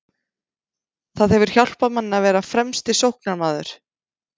Það hefur hjálpað manni að vera fremsti sóknarmaður.